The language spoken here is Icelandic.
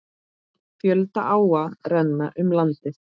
Fjölda áa renna um landið.